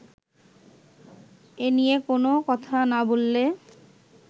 এনিয়ে কোনো কথা না বললে